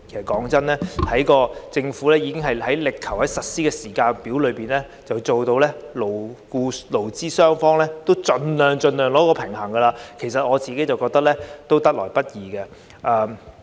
老實說，政府已力求在實施時間表上盡量在勞方與資方之間取得平衡，我認為這已是得來不易。